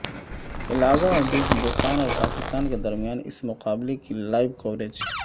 علاوہ ازیں ہندوستان اور پاکستان کے درمیان اس مقابلہ کی لائیو کوریج